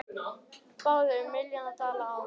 Báðu um milljarð dala í lán